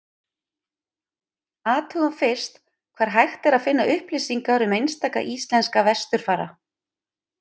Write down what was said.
athugum fyrst hvar hægt er að finna upplýsingar um einstaka íslenska vesturfara